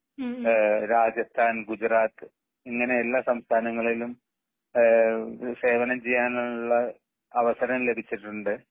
ഏഹ് രാജസ്ഥാൻ, ഗുജറാത്തു, ഇങ്ങനെ എല്ലാ സംഥാനങ്ങളിലും ഏഹ് സേവനം ചെയ്യാനുള്ള അവസരം ലഭിച്ചിട്ടുണ്ട്.